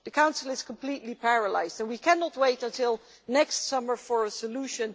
The Council is completely paralysed and we cannot wait until next summer for a solution.